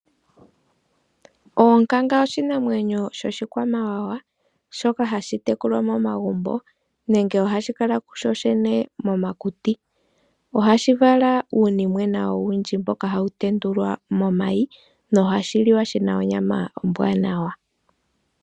Oonkanga oshinamwenyo shoshikwamawawa shoka hashi tekulwa momagumbo nenge ohashi kala kusho shene momakuti. Ohashi vala uunimwena mboka hawu tendulwa momayi nohashiliwa shina onyama ombwaanawa.